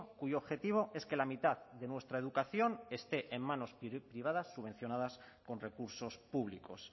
cuyo objetivo es que la mitad de nuestra educación esté en manos privadas subvencionadas con recursos públicos